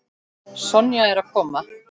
Sonja er að koma.